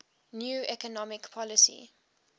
new economic policy